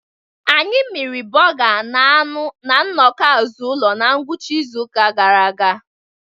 Anyị miri burga na anu na nnọkọ azụ ụlo na ngwụcha izu ụka gara aga.